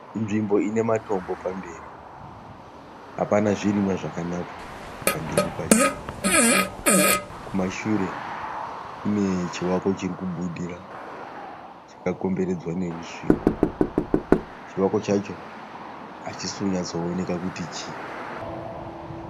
Nzvimbo ine matombo pamberi. Apana zvirimwa zvakanaka pamberi pacho. Kumashure kune chivako chiri kubudira chirikubudira chakakomberedzwa nerusvingo. Chivako chacho hachisi kunyatsooneka kuti chii.